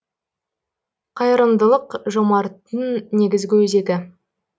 қайырымдылық жомарттың негізгі өзегі